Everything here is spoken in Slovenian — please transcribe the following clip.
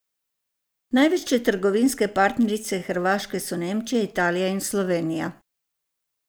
Največje trgovinske partnerice Hrvaške so Nemčija, Italija in Slovenija.